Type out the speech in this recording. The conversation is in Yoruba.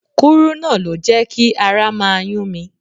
Kúrúnà ló jẹ́ kí ara máa yún mi.